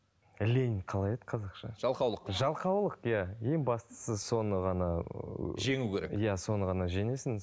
лень қалай еді қазақша жалқаулық жалқаулық иә ең бастысы соны ғана жеңу керек иә соны ғана жеңесің